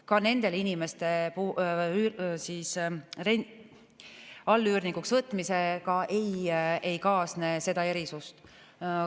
Ka nende inimeste allüürnikuks võtmisega ei kaasne seda erisust.